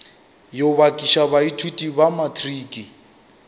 yo bakiša baithuti ba matriki